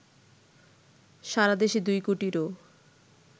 সারা দেশে ২ কোটিরও